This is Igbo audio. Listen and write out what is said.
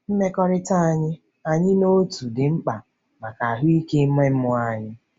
Mmekọrịta anyị anyị na otu dị mkpa maka ahụike ime mmụọ anyị.